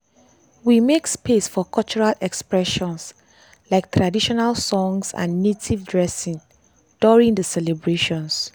we make space for cultural expressions like traditional like traditional songs and native dressing during the celebrations.